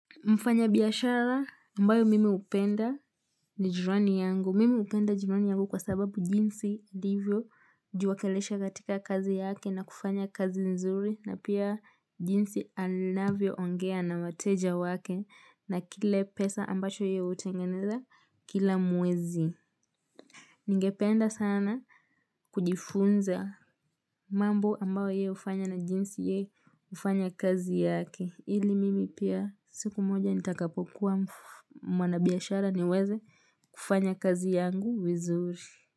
Mfanya biashara ambayo mimi hupenda ni jirani yangu. Mimi hupenda jirani yangu kwa sababu jinsi ndivyo hujiwakilisha katika kazi yake na kufanya kazi nzuri. Na pia jinsi anavyoongea na wateja wake na kile pesa ambacho yeye hutengeneza kila mwezi. Ningependa sana kujifunza mambo ambayo yeye hufanya na jinsi yeye hufanya kazi yake. Ili mimi pia siku moja nitakapokuwa mwanabiashara niweze kufanya kazi yangu vizuri.